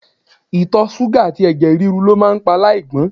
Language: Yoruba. Itọ ṣuga ati ẹ̀jẹ̀ ríru lo maa pa alaigbon